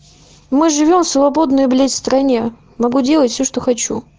мы живём в свободной блядь стране могу делать все что хочу